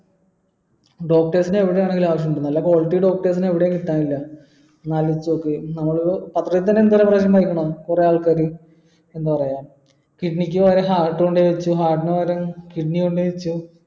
doctors നെ എവിടെയാണെങ്കിലും ആവശ്യമുണ്ട് നല്ല quality doctor നെ എവിടെയും കിട്ടാനില്ല ഒന്നാലോചിച്ചു നോക്ക് കൊറേ ആള്ക്കാര് എന്താ പറയാ kidney ക്ക് പകരം heart കൊണ്ട് പോയ് വെച്ച് heart ന് പകരം kidney കൊണ്ട് പോയ് വെച്ച്